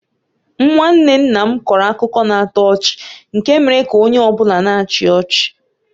Nwanne nna m kọrọ akụkọ na-atọ ọchị nke mere ka onye ọ bụla na-achị ọchị.